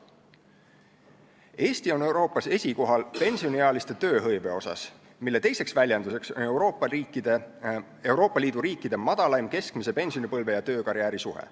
Eesti on Euroopas esikohal pensioniealiste tööhõive poolest, samuti on meil Euroopa Liidu riikide madalaim keskmise pensionipõlve ja töökarjääri suhe.